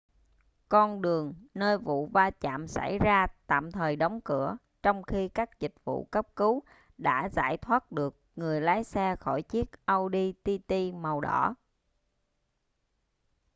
con đường nơi vụ va chạm xảy ra tạm thời đóng cửa trong khi các dịch vụ cấp cứu đã giải thoát được người lái xe khỏi chiếc audi tt màu đỏ